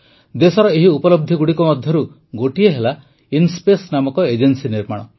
ଦେଶର ଏହି ଉପଲବ୍ଧିଗୁଡ଼ିକ ମଧ୍ୟରୁ ଗୋଟିଏ ହେଲା ଇନ୍ସ୍ପେସ୍ ନାମକ ଏଜେନ୍ସି ନିର୍ମାଣ